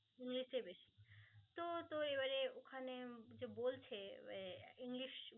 ইংলিশটাই বেশি তো তুই এইবারে ওখানে যে বলছে আহ ইংলিশ